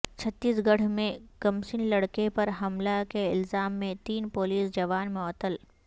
چھتیس گڑھ میں کمسن لڑکے پر حملہ کے الزام میں تین پولیس جوان معطل